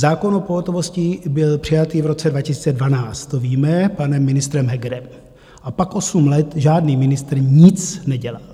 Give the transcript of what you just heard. Zákon o pohotovosti byl přijatý v roce 2012, to víme, panem ministrem Hegerem, a pak osm let žádný ministr nic nedělal.